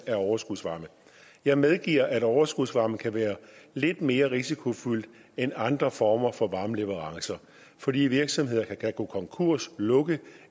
overskudsvarme jeg medgiver at overskudsvarme kan være lidt mere risikofyldt end andre former for varmeleverancer fordi virksomheder kan gå konkurs lukke